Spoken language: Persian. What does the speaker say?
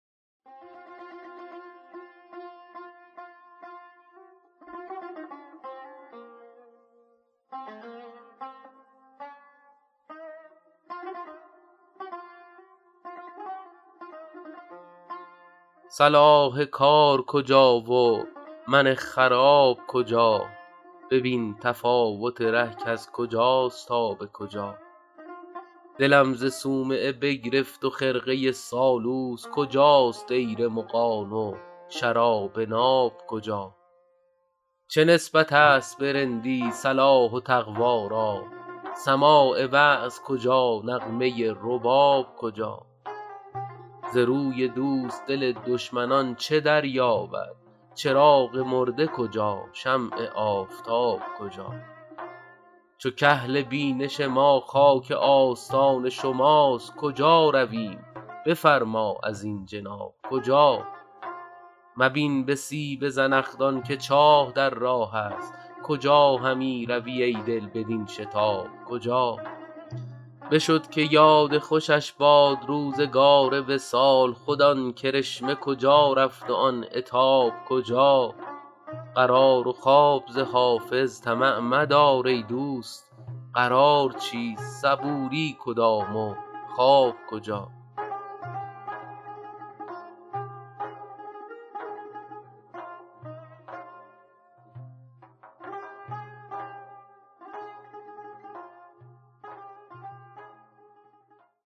صلاح کار کجا و من خراب کجا ببین تفاوت ره کز کجاست تا به کجا دلم ز صومعه بگرفت و خرقه سالوس کجاست دیر مغان و شراب ناب کجا چه نسبت است به رندی صلاح و تقوا را سماع وعظ کجا نغمه رباب کجا ز روی دوست دل دشمنان چه دریابد چراغ مرده کجا شمع آفتاب کجا چو کحل بینش ما خاک آستان شماست کجا رویم بفرما ازین جناب کجا مبین به سیب زنخدان که چاه در راه است کجا همی روی ای دل بدین شتاب کجا بشد که یاد خوشش باد روزگار وصال خود آن کرشمه کجا رفت و آن عتاب کجا قرار و خواب ز حافظ طمع مدار ای دوست قرار چیست صبوری کدام و خواب کجا